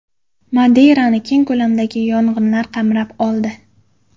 Madeyrani keng ko‘lamdagi yong‘inlar qamrab oldi .